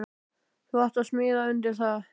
Þú átt að smíða undir það.